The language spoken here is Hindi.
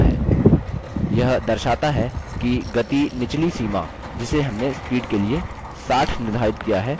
यह दर्शाता है कि गति निचली सीमा जिसे हमने speed के लिए 60 निर्धारित किया है उससे कम हो गयी है